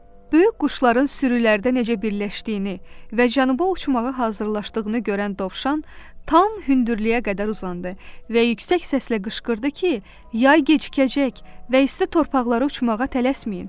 Böyük quşların sürülərdə necə birləşdiyini və cənuba uçmağa hazırlaşdığını görən dovşan tam hündürlüyə qədər uzandı və yüksək səslə qışqırdı ki, yay gecikəcək və isti torpaqlara uçmağa tələsməyin.